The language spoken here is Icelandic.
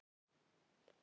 Þetta var um helgar.